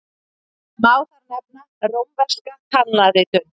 Má þar nefna rómverska talnaritun.